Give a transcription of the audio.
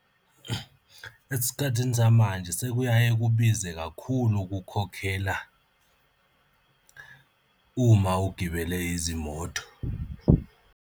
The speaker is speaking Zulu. Esikhathini samanje sekuyaye kubize kakhulu ukukhokhela uma ugibele izimoto.